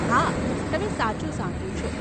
હા, તમે સાચું સાંભળ્યું છે.